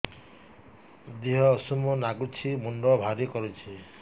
ଦିହ ଉଷୁମ ନାଗୁଚି ମୁଣ୍ଡ ଭାରି କରୁଚି